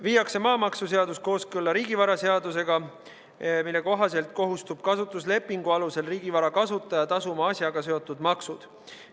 Viiakse maamaksuseadus kooskõlla riigivaraseadusega, mille kohaselt kohustub kasutuslepingu alusel riigivara kasutaja tasuma asjaga seotud maksud.